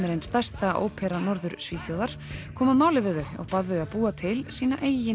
er ein stærsta óperan í Norður Svíþjóð kom að máli við þau og bað þau að búa til sína eigin